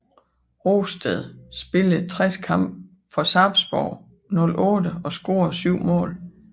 Rosted spillede 60 kampe for Sarpsborg 08 og scorede 7 mål